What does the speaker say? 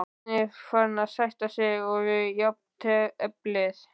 Var Bjarni farinn að sætta sig við jafnteflið?